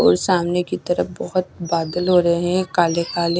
और सामने की तरफ बोहोत बादल हो रहे है काले काले।